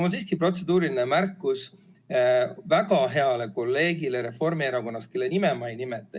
Aga mul on protseduuriline märkus väga heale kolleegile Reformierakonnast, kelle nime ma ei nimeta.